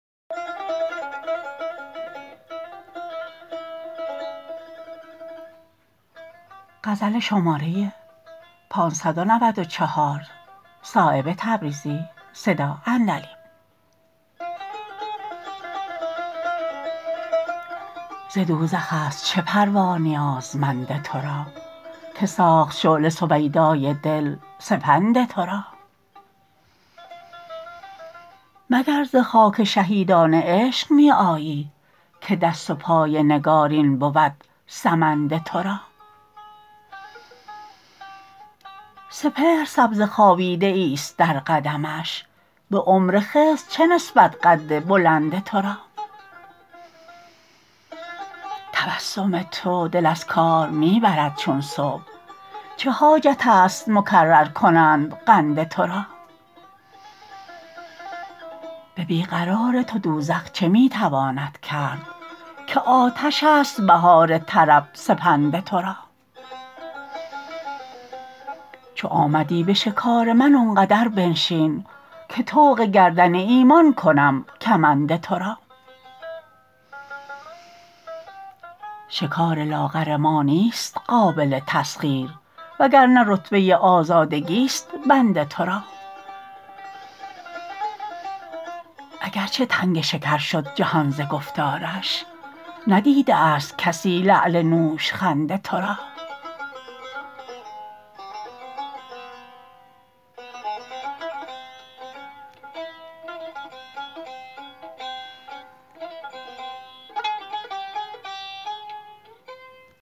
ز دوزخ است چه پروا نیازمند ترا که ساخت شعله سویدای دل سپند ترا مگر ز خاک شهیدان عشق می آیی که دست و پای نگارین بود سمند ترا سپهر سبزه خوابیده ای است در قدمش به عمر خضر چه نسبت قد بلند ترا تبسم تو دل از کار می برد چون صبح چه حاجت است مکرر کنند قند ترا به بی قرار تو دوزخ چه می تواند کرد که آتش است بهار طرب سپند ترا چو آمدی به شکار من آنقدر بنشین که طوق گردن ایمان کنم کمند ترا شکار لاغر ما نیست قابل تسخیر وگرنه رتبه آزادگی است بند ترا اگر چه تنگ شکر شد جهان ز گفتارش ندیده است کسی لعل نوشخند ترا